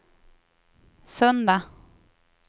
söndag